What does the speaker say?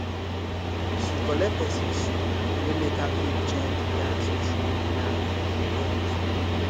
she collect person shoe wey make her fit join de dance wey she no plan for de event